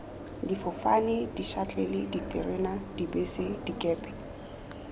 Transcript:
difofane dišatlelle diterena dibese dikepe